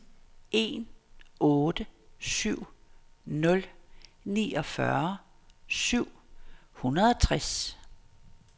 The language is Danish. en otte syv nul niogfyrre syv hundrede og tres